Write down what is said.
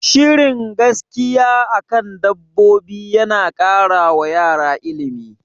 Shirin gaskiya akan dabbobi yana kara wa yara ilimi